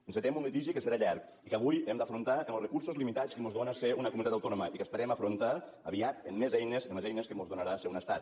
encetem un litigi que serà llarg i que avui hem d’afrontar amb els recursos limitats que mos dóna ser una comunitat autònoma i que esperem afrontar aviat amb més eines amb les eines que mos donarà ser un estat